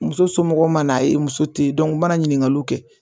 Muso somɔgɔw mana a ye muso tɛ yen u mana ɲiningaliw kɛ